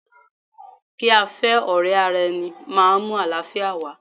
Kí a fẹ́ ọ̀rẹ́ ara ẹni máa mú àlàáfíà wá.